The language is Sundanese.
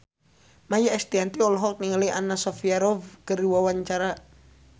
Maia Estianty olohok ningali Anna Sophia Robb keur diwawancara